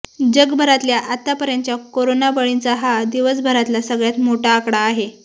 जगभरातल्या आतापर्यंतच्या कोरोना बळींचा हा दिवसभरातला सगळ्यात मोठा आकडा आहे